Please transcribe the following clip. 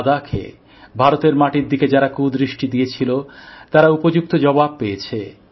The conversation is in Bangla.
লাদাখে ভারতের মাটির দিকে যারা কুদৃষ্টি দিয়েছিল তারা উপযুক্ত জবাব পেয়েছে